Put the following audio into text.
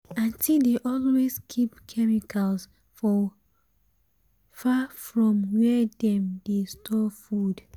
aunty dey always keep chemicals far from where dem dey store food.